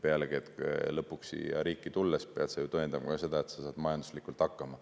Pealegi, siia riiki tulles peab ta ju tõendama ka seda, et ta saab majanduslikult hakkama.